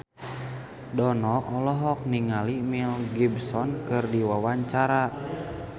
Dono olohok ningali Mel Gibson keur diwawancara